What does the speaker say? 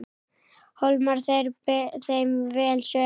Hólmar ber þeim vel söguna.